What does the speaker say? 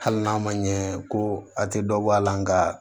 Hali n'a ma ɲɛ ko a tɛ dɔ bɔ a la nga